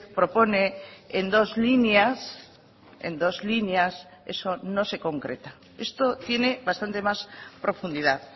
propone en dos líneas en dos líneas eso no se concreta esto tiene bastante más profundidad